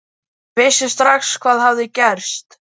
Ég vissi strax hvað hafði gerst.